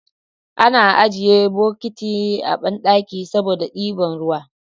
Ana ajjiye bukiti a banɗaki saboda ɗiban ruwa